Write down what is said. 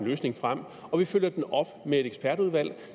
løsning frem og vi følger den op med et ekspertudvalg